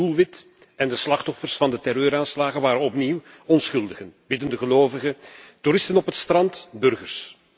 Het doelwit en de slachtoffers van de terreuraanslagen waren opnieuw onschuldigen biddende gelovigen, toeristen op het strand, burgers.